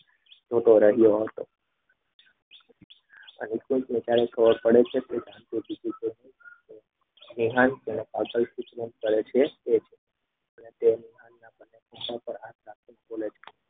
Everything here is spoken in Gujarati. તું તો રહ્યો. અને નિકુંજ જાય છે ત્યારે ખબર પડે છે